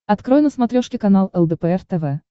открой на смотрешке канал лдпр тв